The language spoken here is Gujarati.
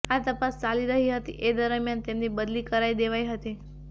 આ તપાસ ચાલી રહી હતી એ દરમિયાન તેમની બદલી કરી દેવાઈ હતી